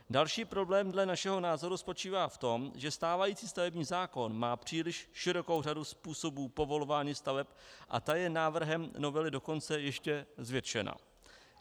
Další problém dle našeho názoru spočívá v tom, že stávající stavební zákon má příliš širokou řadu způsobů povolování staveb, a ta je návrhem novely dokonce ještě zvětšena.